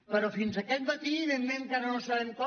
però fins aquest matí evidentment encara no sabem com